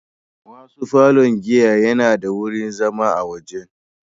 Wasu falon giya yana da wurin zama na waje.